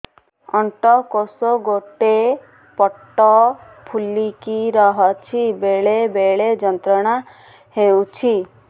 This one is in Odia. ଅଣ୍ଡକୋଷ ଗୋଟେ ପଟ ଫୁଲିକି ରହଛି ବେଳେ ବେଳେ ଯନ୍ତ୍ରଣା ହେଉଛି